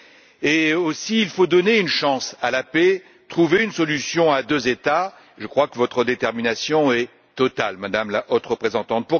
Il faut aussi donner une chance à la paix, trouver une solution à deux États, et je crois que votre détermination est totale, Madame la Haute Représentante.